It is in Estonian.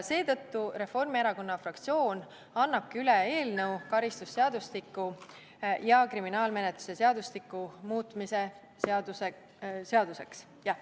Seetõttu annab Reformierakonna fraktsioon üle karistusseadustiku ja kriminaalmenetluse seadustiku muutmise seaduse eelnõu.